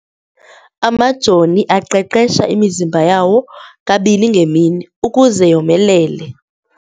Amajoni aqeqesha imizimba yawo kabini ngemini ukuze yomelele.